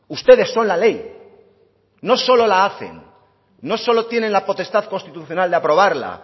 ustedes son la ley no solo la hacen no solo tienen la potestad constitucional de aprobarla